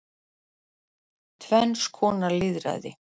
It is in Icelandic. Tvenns konar lýðræði